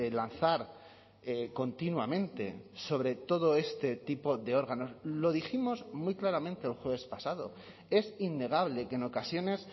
lanzar continuamente sobre todo este tipo de órganos lo dijimos muy claramente el jueves pasado es innegable que en ocasiones